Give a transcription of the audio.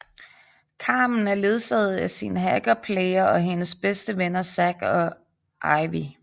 Carmen er ledsaget af sin hacker Player og hendes bedste venner Zack og Ivy